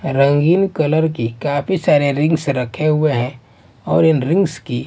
रंगीन कलर की काफी सारे रिंग्स रखे हुए हैं और इन रिंग्स की--